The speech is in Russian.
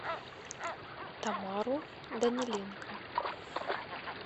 тамару даниленко